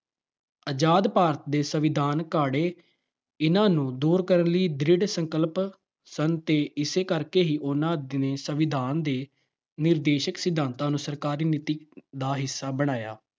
ਆਜਾਦ ਭਾਰਤ ਦੇ ਸੰਵਿਧਾਨ ਘਾੜੇ ਇਹਨਾਂ ਨੂੰ ਦੂਰ ਕਰਨ ਲਈ ਦ੍ਰਿੜ ਸੰਕਲਪ ਸਨ ਅਤੇ ਇਸੇ ਕਰਕੇ ਹੀ ਉਹਨਾਂ ਨੇ ਸੰਵਿਧਾਨ ਦੇ ਨਿਰਦੇਸ਼ਕ ਸਿਧਾਤਾਂ ਨੂੰ ਸਰਕਾਰੀ ਨੀਤੀ ਦਾ ਹਿੱਸਾ ਬਣਾਇਆ।